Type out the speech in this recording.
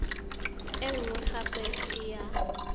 e nngwe gape e ya